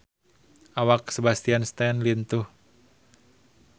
Awak Sebastian Stan lintuh